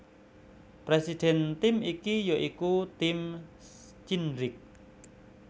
Presiden tim iki ya iku Tim Cindric